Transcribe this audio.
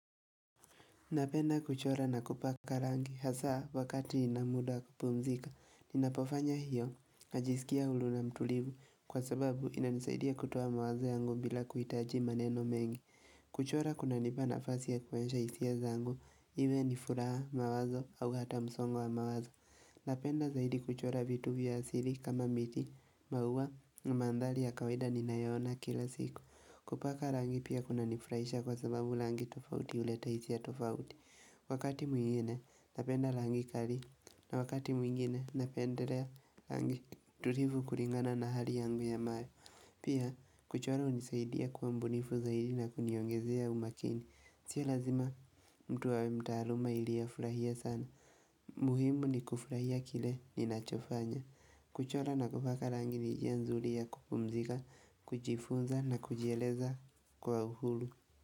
Napenda kuchora na kupaka rangi hasa wakati nina muda wa kupumzika. Ninapofanya hiyo, najisikia huru na mtulivu kwa sababu inanisaidia kutoa mawazo yangu bila kuhitaji maneno mengi. Kuchora kuna nipa nafasi ya kuonyesha hisi zangu, iwe ni furaha mawazo au hata msongo wa mawazo. Napenda zaidi kuchora vitu vya asili kama miti, maua na mandhari ya kawaida ninayo yaona kila siku. Kupaka rangi pia kuna nifurahisha kwa sababu rangi tofauti uleta hisia tofauti Wakati mwengine napenda rangi kali na wakati mwengine napendelea rangi tulivu kulingana na hali yangu ya mare pia kuchora unisaidia kuwa mbunifu zaidi na kuniongezea umakini Sio lazima mtu awemtaaluma ili hafurahie sana muhimu ni kufurahia kile ninacho fanya. Kuchora na kupaka rangi ni njia nzuri ya kupumzika, kujfunza na kujieleza kwa uhuru.